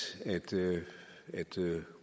at